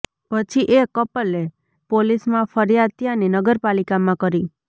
પછી એ કપલે પોલીસમાં ફરિયાદ ત્યાંની નગરપાલિકામાં કરી